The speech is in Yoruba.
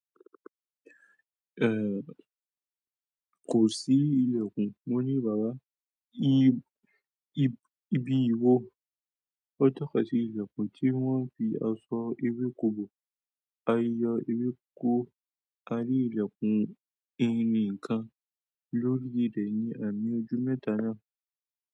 Eh, kò sí ìlẹ̀kùn, wọ́n ní bàbá, ibi ìwo, wọ́n tọ́ka sí ìlẹ̀kùn tí wọ́n fi aṣọ ewéko bò, a yọ ewéko, a rí ìlẹ̀kùn ẹni nìkan lórí ilẹ̀ ní àmì ojú mẹ́ta náà.